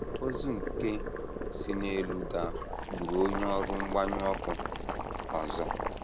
Ozu nke si n’elu daa gburu onye ọrụ mgbanyụ ọkụ ọzọ.